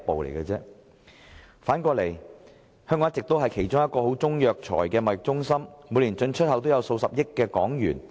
另一方面，香港一直是其中一個十分重要的中藥材貿易中心，每年進出口的中藥材價值數十億港元。